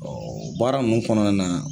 baara nunnu kɔnɔ nana.